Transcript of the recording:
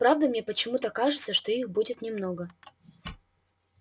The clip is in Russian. правда мне почему-то кажется что их будет немного